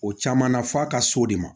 O caman na f'a ka s'o de ma